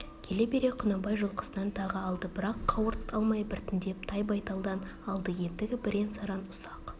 келе бере құнанбай жылқысынан тағы алды бірақ қауырт алмай біртіндеп тай байталдан алды ендігі бірен-саран ұсақ